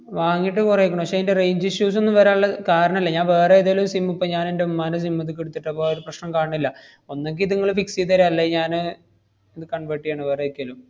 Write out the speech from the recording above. വാങ്ങീട്ട് കൊറേക്കണ്. പക്ഷെ ഇയിന്‍റെ range issues ഒന്നും വരാന്‍ള്ള കാരണല്ല. ഞാൻ വേറേതേലും sim ഇപ്പ ഞാനെന്‍റെ ഉമ്മാന്‍റെ sim ഇത്ക്കെടുത്തിട്ടപ്പൊ ഒരു പ്രശ്നം കാണണില്ല. ഒന്നെങ്കി ഇതിങ്ങള് fix ചെയ്ത് തരാ, അല്ലേ ഞാന് ഇത് convert ചെയ്യാണ് വേറെ എക്ക് ല്ലോം.